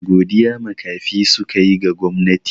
Godiya makafi suka yi ga gwamnati.